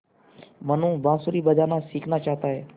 मनु बाँसुरी बजाना सीखना चाहता है